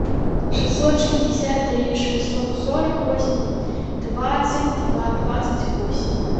шестьсот шестьдесят три шестьсот сорок восемь двадцать два двадцать восемь